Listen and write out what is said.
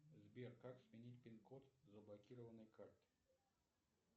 сбер как сменить пин код заблокированной карты